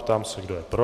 Ptám se, kdo je pro.